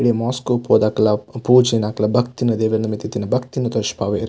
ಇಡೆಗ್ ಮೋಸ್ಕ್ ಪೋದು ಅಕ್ಲ್ನ ಪೂಜೆ ನು ಅಕ್ಲ್ನ ಭಕ್ತಿನ್ ದೇವೆರ್ನ ಮಿತ್ತ್ ಇತ್ತಿನ ಭಕ್ತಿನ್ ತೋಜ್ಪಾವೆರ್.